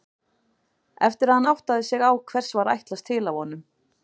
Eftir að hann áttaði sig á hvers ætlast var til af honum.